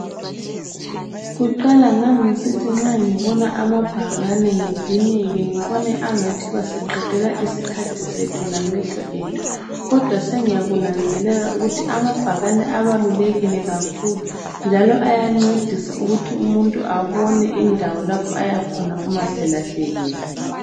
Kuqala ngangisithi nxa ngibona amabhakane ngidineke ngibone angathi basiqedela isikhathi sethu lamehlo ethu kodwa sengiyakunanzelela ukuthi amabhakane abalulekile kakhulu njalo ayancedisa ukuthi umuntu abone indawo lapho ayakhona umaselahlekile.